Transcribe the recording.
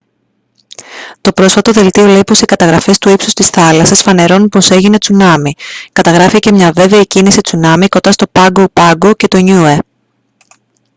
το πρόσφατο δελτίο λέει πως οι καταγραφές του ύψους της θάλασσας φανερώνουν πως έγινε τσουνάμι καταγράφηκε μια βέβαιη κίνηση τσουνάμι κοντά στο πάγκο πάγκο και το νιούε